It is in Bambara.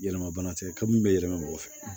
Yɛlɛma bana tɛ ka min bɛ yɛlɛma mɔgɔ fɛ